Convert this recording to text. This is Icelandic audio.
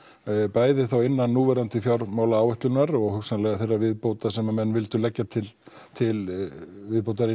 bæði þá innan núverandi fjármálaáætlunar og hugsanlega þeirrar viðbótar sem menn leggja til til viðbótar